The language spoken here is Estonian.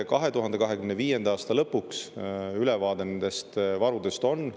2025. aasta lõpuks on ülevaade nendest varudest olemas.